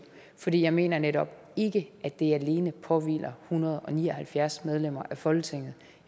for jeg mener netop ikke at det alene påhviler hundrede og ni og halvfjerds medlemmer af folketinget